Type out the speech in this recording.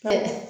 Ka